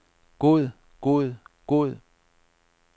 god god god